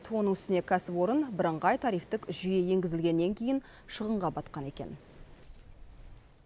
оның үстіне кәсіпорын бірыңғай тарифтік жүйе енгізілгеннен кейін шығынға батқан екен